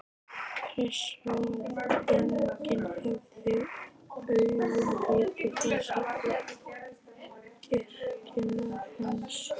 Hressó að enginn hefði augum litið þessar yrkingar hans?